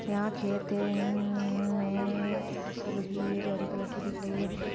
यहाँ खेत हैं उनननन में फसल उगी हुई जो हरी कलर की दिख रही हैं।